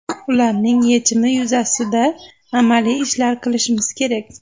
Ularning yechimi yuzasida amaliy ishlar qilishimiz kerak.